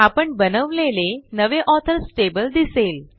आपण बनवलेले नवे ऑथर्स टेबल दिसेल